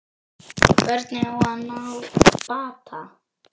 Hvernig á að ná bata?